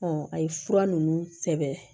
a ye fura ninnu sɛbɛn